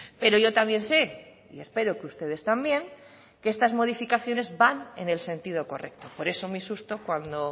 pero yo también sé y espero que ustedes también que estas modificaciones van en el sentido correcto por eso mi susto cuando